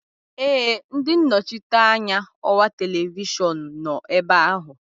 Ee, ndị nnọchiteanya ọwa televishọn nọ ebe ahụ